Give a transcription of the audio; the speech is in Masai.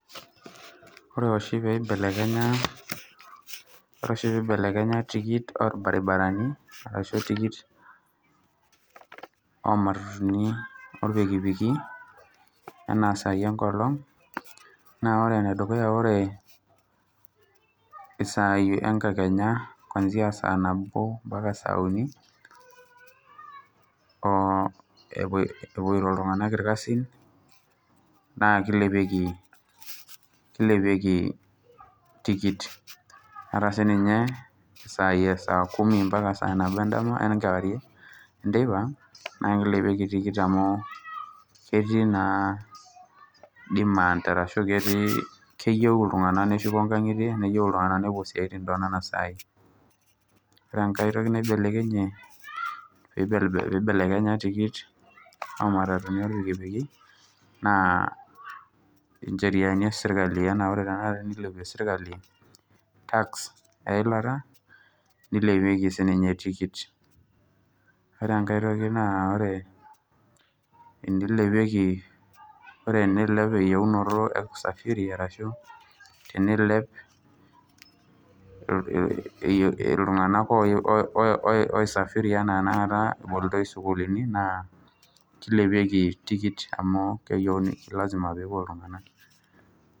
Ore oshi peeibelekenya ore oshi peeibelekenya tikit orbaribarani arashu tikit oo matatuni orpikipiki enaa sai enkolong' naa ore ene dukuya naa ore isai enkakenya kuanzia saa nabo mpaka saa uni, oo epuo epuoito iltung'anak irkasin naake ilepieki kilepieki tikit. Ata sininye isaai e saa kumi mpaka saa nabo endama, enkewarie enteipa naake ilepieki tikit amu ketii naa demand arashu ketii keyeu iltung'anak neshuko inkang'itie, neyeu iltung'anak nepuo isiaitin too nona saai. Ore enkae toki naibelekenyie piibel piibelekenya tikit ooo matatutini oo mpikipiki, naa incheriani e serkali enaa ore tenakata enilepie serkali tax eilata, nilepieki sininye tikit. Ore enkae toki naa ore enilepieki ore enilep eyeunoto e kusafiri arashu teniilep ee eyie iltung'anak oyiu oo o osafiri enaa tenakata ebolitoi isukuulini naa kilepieki tikit amu lazima peepuo iltung'a, nak.